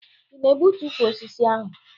Ị na-egbutu ukwu osisi ahụ?